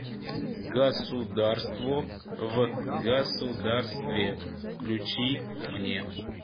государство в государстве включи мне